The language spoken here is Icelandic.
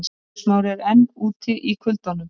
Eiður Smári enn úti í kuldanum